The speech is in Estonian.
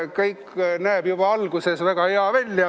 Kõik näeb juba alguses väga hea välja.